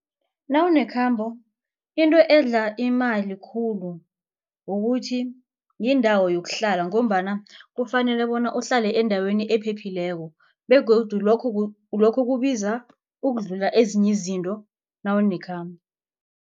Nawunekhambo into edla imali khulu kukuthi yindawo yokuhlala ngombana kufanele bona uhlale endaweni ephephileko begodu lokho lokho kubiza ukudlula ezinye izinto nawunekhambo.